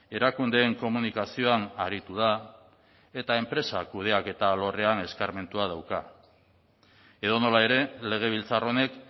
erakundeen komunikazioan aritu da eta enpresa kudeaketa alorrean eskarmentua dauka edonola ere legebiltzar honek